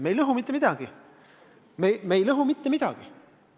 Me ei lõhu mitte midagi.